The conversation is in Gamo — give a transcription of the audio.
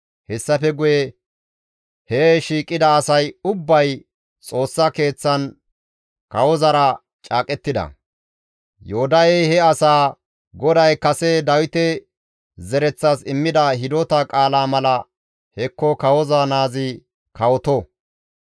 Hessafe guye he shiiqida asay ubbay Xoossa Keeththan kawozara caaqettida; Yoodahey he asaa, «GODAY kase Dawite zereththas immida hidota qaalaa mala hekko kawoza naazi kawoto.